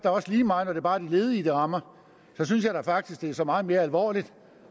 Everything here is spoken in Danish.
også lige meget når det bare er de ledige det rammer så synes jeg da faktisk at det er så meget mere alvorligt